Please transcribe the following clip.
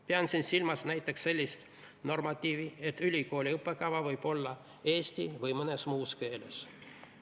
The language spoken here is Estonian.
Pean siin silmas näiteks sellist normatiivi, et ülikooli õppekava võib olla eesti või mõnes muus keeles.